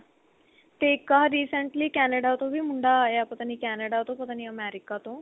ਤੇ ਇੱਕ ਆਹ recently Canada ਤੋਂ ਵੀ ਮੁੰਡਾ ਆਇਆ ਪਤਾ ਨੀ Canada ਤੋਂ ਪਤਾ ਨੀ America ਤੋਂ